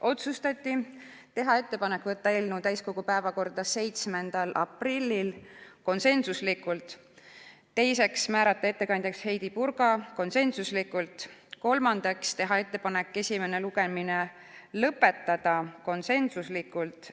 Otsustati teha ettepanek võtta eelnõu täiskogu päevakorda 7. aprilliks , määrata ettekandjaks Heidy Purga , teha ettepanek esimene lugemine lõpetada